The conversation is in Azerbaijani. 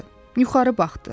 Yuxarı baxdı.